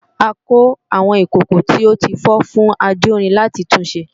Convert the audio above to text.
a kó àwọn ìkòkò tí ó tí fọ́ fún ajórin láti tun ṣe